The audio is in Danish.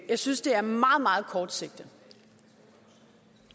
jeg synes det er meget meget kortsigtet